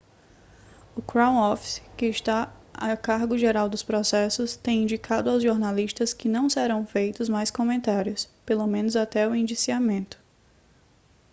o crown office que está a cargo geral dos processos tem indicado ao jornalistas que não serão feitos mais comentários pelo menos até o indiciamento